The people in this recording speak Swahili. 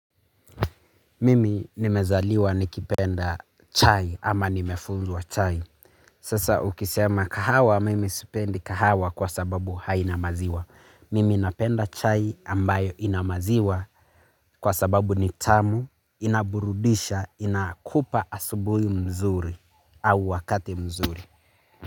Mimi nimezaliwa nikipenda chai ama nimefunzwa chai. Sasa ukisema kahawa mimi sipendi kahawa kwa sababu hainamaziwa. Mimi napenda chai ambayo inamaziwa kwa sababu nitamu, inaburudisha, inakupa asubui mzuri au wakati mzuri.